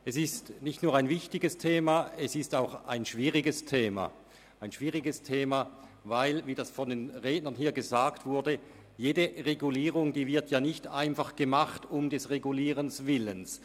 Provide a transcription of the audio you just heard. Es ist nicht nur ein wichtiges, sondern auch ein schwieriges Thema, weil nicht jede Regulierung einfach um der Regulierung willen gemacht wird, wie es die vorherigen Redner erwähnt haben.